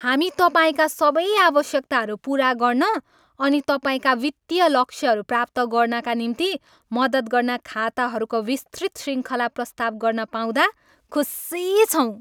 हामी तपाईँका सबै आवश्यकताहरू पुरा गर्न अनि तपाईँका वित्तीय लक्ष्यहरू प्राप्त गर्नाका निम्ति मद्दत गर्न खाताहरूको विस्तृत श्रृङ्खला प्रस्ताव गर्न पाउँदा खुसी छौँ।